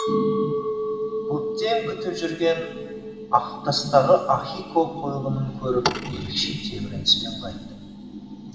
көптен күтіп жүрген ақтастағы ахико қойылымын көріп ерекше тебіреніспен қайттым